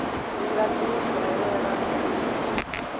ndi nga dzi dalela lini